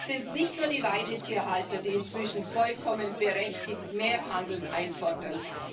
Es sind nicht nur die Weidetierhalter, die inzwischen vollkommen berechtigt mehr Handeln einfordern.